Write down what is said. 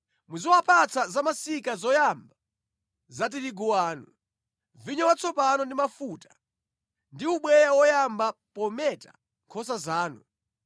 Muziwapatsa zamasika zoyamba za tirigu wanu, vinyo watsopano ndi mafuta, ndi ubweya woyamba pometa nkhosa zanu,